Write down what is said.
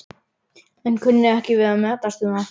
en kunni ekki við að metast um það.